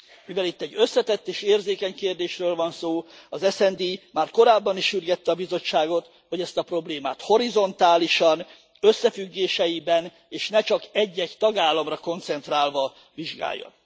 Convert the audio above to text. Mivel itt egy összetett és érzékeny kérdésről van szó, az SD már korábban is sürgette a Bizottságot, hogy ezt a problémát horizontálisan, összefüggéseiben és ne csak egy egy tagállamra koncentrálva vizsgálja.